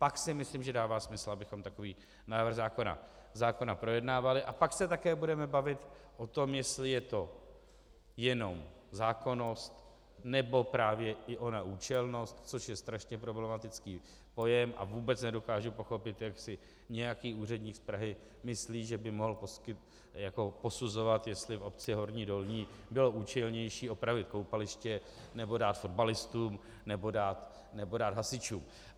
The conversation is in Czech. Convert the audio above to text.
Pak si myslím, že dává smysl, abychom takový návrh zákona projednávali, a pak se také budeme bavit o tom, jestli je to jenom zákonnost, nebo právě i ona účelnost, což je strašně problematický pojem, a vůbec nedokážu pochopit, jak si nějaký úředník z Prahy myslí, že by mohl posuzovat, jestli v obci Horní Dolní bylo účelnější opravit koupaliště, nebo dát fotbalistům, nebo dát hasičům.